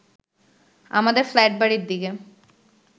আমাদের ফ্ল্যাটবাড়ির দিকে